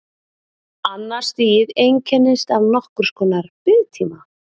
Annað stigið einkennist af nokkurs konar biðtíma.